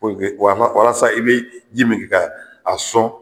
Walasa i bɛ ji min kɛ k'a sɔn.